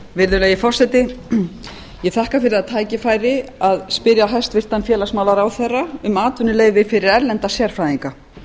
virðulegi forseti ég þakka fyrir það tæki færi að spyrja hæstvirtan félagsmálaráðherra um atvinnuleyfi fyrir erlenda sérfræðinga